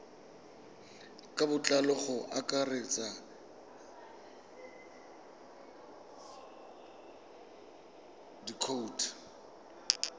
ka botlalo go akaretsa dikhoutu